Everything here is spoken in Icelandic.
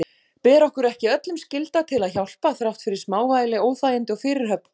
Ber okkur ekki öllum skylda til að hjálpa þrátt fyrir smávægileg óþægindi og fyrirhöfn?